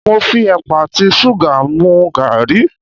Mo fi ẹ̀pà àti ṣúgà mu gàrí.